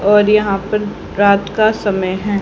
और यहां पर रात का समय है।